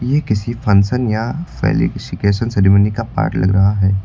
ये किसी फंशन या सेरेमनी का पार्ट लग रहा है।